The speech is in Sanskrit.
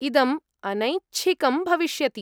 इदम् अनैच्छिकं भविष्यति।